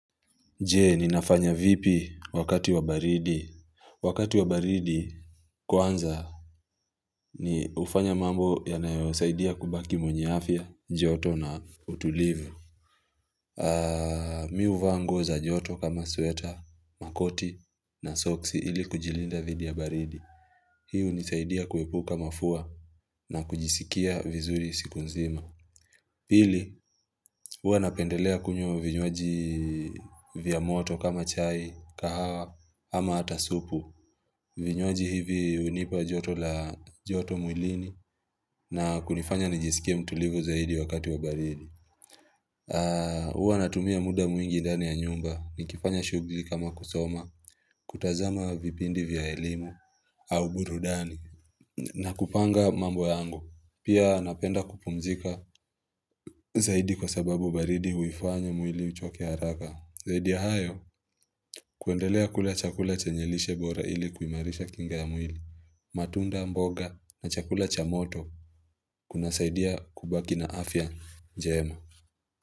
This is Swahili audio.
Je, ninafanya vipi wakati wa baridi? Wakati wa baridi, kwanza, ni hufanya mambo yanayosaidia kubaki mwenyeafya, joto na utulivu. Mimi huvango za joto kama sweater, makoti na soksi ili kujilinda vidi ya baridi. Hii hunisaidia kuepuka mafua na kujisikia vizuri siku nzima. Pili, uanapendelea kunywa vinywaji vya moto kama chai, kahawa, ama hatasupu. Vinywaji hivi unipa joto mwilini na kunifanya nijisikia mtulivu zaidi wakati wa baridi. Huanatumia muda mwingi ndani ya nyumba, nikifanya shughuli kama kusoma, kutazama vipindi vya elimu au burudani, na kupanga mambo yangu. Pia napenda kupumzika zaidi kwa sababu baridi huifanya mwili uchokea haraka. Zaidi ya hayo kuendelea kula chakula chenyelishe bora ili kuimarisha kinga ya mwili. Matunda mboga na chakula cha moto kuna saidia kubaki na afya jema.